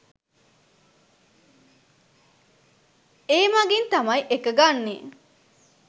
ඒ මගින් තමයි එක ගන්නේ.